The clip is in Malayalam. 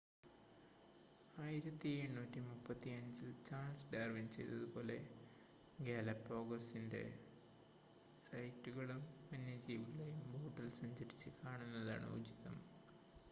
1835-ൽ ചാൾസ് ഡാർവിൻ ചെയ്തതുപോലെ ഗാലപാഗോസിൻ്റെ സൈറ്റുകളും വന്യജീവികളെയും ബോട്ടിൽ സഞ്ചരിച്ച് കാണുന്നതാണ് ഉചിതം